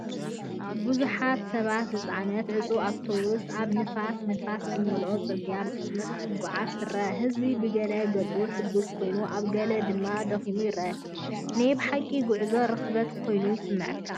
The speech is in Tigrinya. ብዙሓት ሰባት ዝጸዓነት ዕጹው ኣውቶቡስ ኣብ ንፋስን ንፋስን ዝመልኦ ጽርግያ ብፍጥነት ክትጓዓዝ ትርአ። ህዝቢ ብገለ ገጹ ሕጉስ ኮይኑ ኣብ ገሊኡ ድማ ደኺሙ ይረአ፤ ናይ ብሓቂ ጉዕዞ ርኽበት ኮይኑ ይስምዓካ።